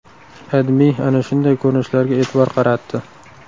AdMe ana shunday ko‘rinishlarga e’tibor qaratdi .